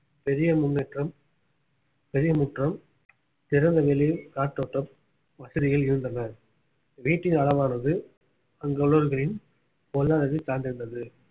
பெரிய முன்னேற்றம் பெரிய முற்றம் திறந்தவெளி காற்றோட்டம் வசதிகள் இருந்தன வீட்டின் அளவானது அங்குள்ளவர்களின் பொருளாதாரத்தை சார்திருத்தது